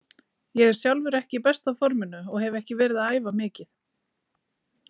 Ég er sjálfur ekki í besta forminu og hef ekki verið að æfa mikið.